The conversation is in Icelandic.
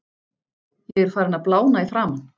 Ég er farinn að blána í framan.